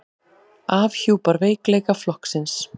Afhjúpar veikleika flokksins